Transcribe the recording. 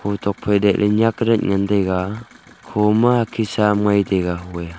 ho tokphai dai la nyak dat ngan taiga khoma hakhit sam ngai taiga hoye.